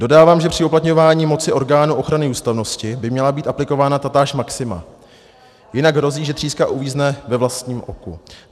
Dodávám, že při uplatňování moci orgánu ochrany ústavnosti by měla být aplikována tatáž maxima, jinak hrozí, že tříska uvízne ve vlastním oku.